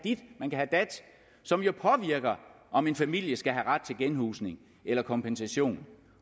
have dat som jo påvirker om en familie skal have ret til genhusning eller kompensation